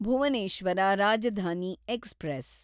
Bhubaneswar Rajdhani express